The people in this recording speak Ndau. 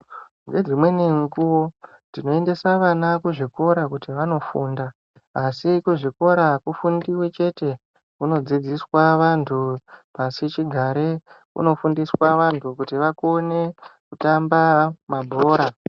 Ngedzimweni mukuwo tinoendesa vana kuzvikora kuti vanofunda. Asi kuzvikora akufundiwi chete, kunodzidziswa vantu pasichigare. Kunofundiswa vantu kuti vakone kutamba mabhora.